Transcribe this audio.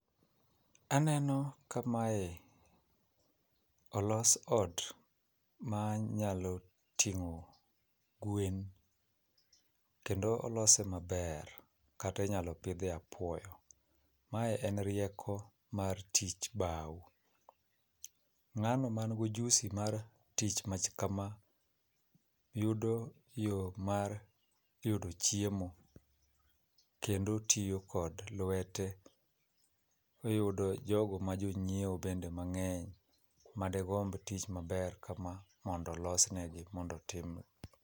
Aneno ka mae olos ot ma nyalo tingó gwen. Kendo olose maber, kata inyalo pidhe apuoyo. Mae en rieko, mar tij bao. Ngáno ma nigo ojusi mar tich machal kama, yudo yo mar yudo chiemo kendo tiyo kod lwete e yudo jogo majonyiewo bende mangény, madegomb tich maber kama mondo olos ne gi, mondo otimne.